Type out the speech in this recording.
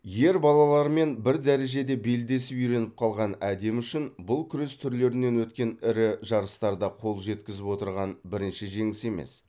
ер балалармен бір дәрежеде белдесіп үйреніп қалған әдемі үшін бұл күрес түрлерінен өткен ірі жарыстарда қол жеткізіп отырған бірінші жеңіс емес